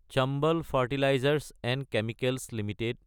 Chambal fertilisers & chemicals Ltd